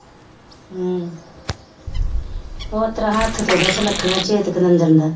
ਹਮ ਉਸ ਤਰ੍ਹਾਂ ਹੱਥ ਤੇ ਉਹਦਾ ਸੁਨੱਖੜਾ